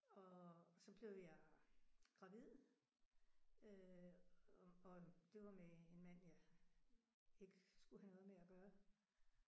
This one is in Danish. Og så blev jeg gravid øh og det var med en mand jeg ikke skulle have noget med at gøre